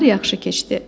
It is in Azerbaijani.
Nahar yaxşı keçdi.